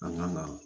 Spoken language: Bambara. An ka na